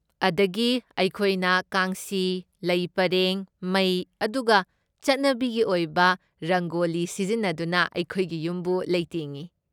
ꯑꯗꯒꯤ ꯑꯩꯈꯣꯏꯅ ꯀꯥꯡꯁꯤ, ꯂꯩ ꯄꯔꯦꯡ, ꯃꯩ, ꯑꯗꯨꯒ ꯆꯠꯅꯕꯤꯒꯤ ꯑꯣꯏꯕ ꯔꯪꯒꯣꯂꯤ ꯁꯤꯖꯤꯟꯅꯗꯨꯅ ꯑꯩꯈꯣꯏꯒꯤ ꯌꯨꯝꯕꯨ ꯂꯩꯇꯦꯡꯏ꯫